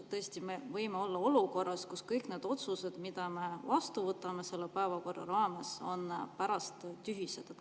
Me tõesti võime olla olukorras, kus kõik need otsused, mida me selle päevakorra raames vastu võtame, on pärast tühised.